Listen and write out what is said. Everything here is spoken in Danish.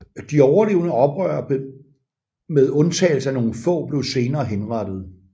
De overlevende oprørere med undtagelse af nogen få blev senere henrettede